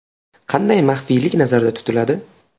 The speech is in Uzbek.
Qanday maxfiylik nazarda tutiladi?